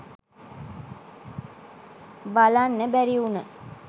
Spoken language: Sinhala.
බලන්න බැරි වුන